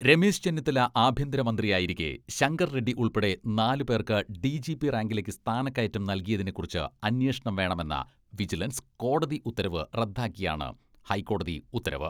രമേശ് ചെന്നിത്തല ആഭ്യന്തര മന്ത്രിയായിരിക്കെ ശങ്കർ റെഡ്ഡി ഉൾപ്പെടെ നാലു പേർക്ക് ഡിജിപി റാങ്കിലേക്ക് സ്ഥാനക്കയറ്റം നൽകിയതിനെ കുറിച്ച് അന്വേഷണം വേണമെന്ന വിജിലൻസ് കോടതി ഉത്തരവ് റദ്ദാക്കിയാണ് ഹൈക്കോടതി ഉത്തരവ്.